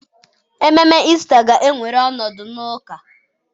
Ememe Ista ga-ewere ọnọdụ n'ụka.